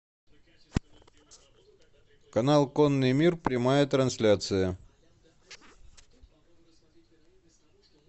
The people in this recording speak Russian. канал конный мир прямая трансляция